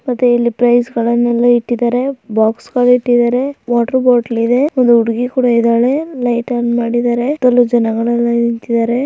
ಅದೆ ಇಲ್ಲಿ ಪ್ರೈಸ್ ಗಳನ್ನ ಎಲ್ಲ ಇಟ್ಟಿದರೆ ಬಾಕ್ಸ್ಗ ಳು ಇಟ್ಟಿದರೆ ವಾಟರ್ ಬಾಟಲ್ ಇದೆ ಒಂದು ಹುಡುಗಿ ಕೂಡ ಇದಳೆ ಲೈಟ್ ಆನ್ ಮಾಡಿದರೆ ಸುತ್ತಲು ಜನಗಳೆಲ್ಲ ನಿಂತಿದರೆ.